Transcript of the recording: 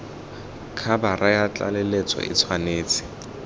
khabara ya tlaleletso e tshwanetse